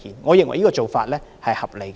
我認為這個做法合理。